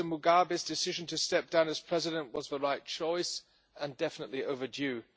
Mr Mugabe's decision to step down as President was the right choice and definitely overdue.